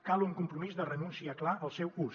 cal un compromís de renúncia clar al seu ús